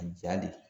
A ja de